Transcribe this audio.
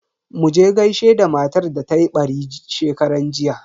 Muje gaishe da matar da tayi ɓari shekaran jiya.